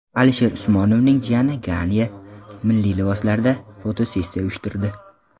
Alisher Usmonovning jiyani Ganya milliy liboslarda fotosessiya uyushtirdi .